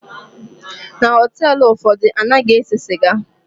Na họteelụ ụfọdụ, anaghị ese sịga.